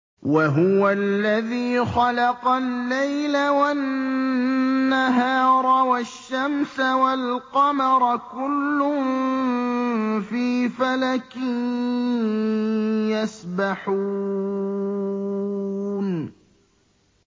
وَهُوَ الَّذِي خَلَقَ اللَّيْلَ وَالنَّهَارَ وَالشَّمْسَ وَالْقَمَرَ ۖ كُلٌّ فِي فَلَكٍ يَسْبَحُونَ